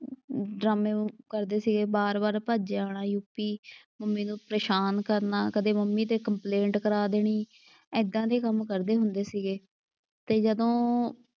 ਡਰਾਮੇ ਕਰਦੇ ਸੀਗੇ। ਵਾਰ ਵਾਰ ਭੱਜਿਆ ਆਉਣਾ ਯੂ ਪੀ। ਮੰਮੀ ਨੂੰ ਪ੍ਰੇਸ਼ਾਨ ਕਰਨਾ, ਕਦੇ ਮੰਮੀ ਤੇ ਕੰਪਲੇਂਟ ਕਰਾ ਦੇਣੀ। ਏਦਾਂ ਦੇ ਕੰਮ ਕਰਦੇ ਹੁੰਦੇ ਸੀਗੇ ਤੇ ਜਦੋਂ,